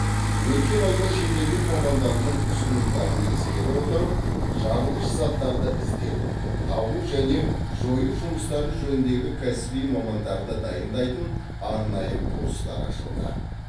өткен айда шетелдік мамандардың ұсынымдарын ескере отырып жарылғыш заттарды іздеу табу және жою жұмыстары жөніндегі кәсіби мамандарды дайындайтын арнайы курстар ашылды